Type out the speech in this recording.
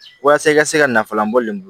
Walasa i ka se ka nafalan bɔ le